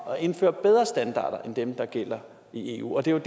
og indføre bedre standarder end dem der gælder i eu det er jo